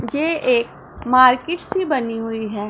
ये एक मार्केट सी बनी हुई है।